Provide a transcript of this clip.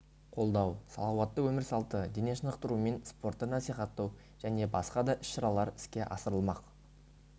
қолдау салауатты өмір салты дене шынықтыру мен спортты насихаттау және басқа да іс-шаралар іске асырылмақ